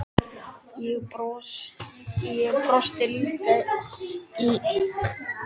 Ég brosti líka, einn af milljón fiskum í sjónum.